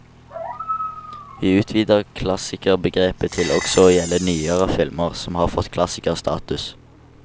Vi utvider klassikerbegrepet til også å gjelde nyere filmer som har fått klassikerstatus.